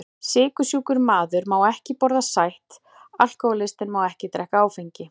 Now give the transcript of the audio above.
Sykursjúkur maður má ekki borða sætt, alkohólistinn má ekki drekka áfengi.